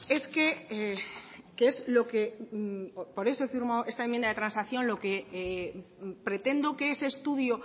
es que que es lo que por eso firmo esta enmienda de transacción lo que pretendo que ese estudio